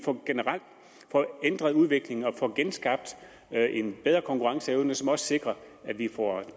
generelt får ændret udviklingen og får genskabt en bedre konkurrenceevne som også sikrer at vi får